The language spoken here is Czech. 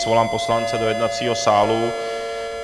Svolám poslance do jednacího sálu.